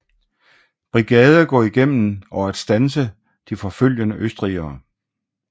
Brigade gå igennem og at standse de forfølgende østrigere